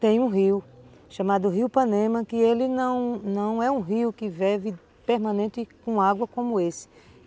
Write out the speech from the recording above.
Tem um rio chamado Rio Panema, que ele não não é um rio que vive permanente com água como esse.